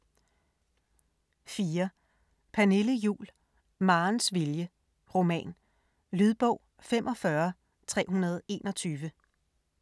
4. Juhl, Pernille: Marens vilje: roman Lydbog 45321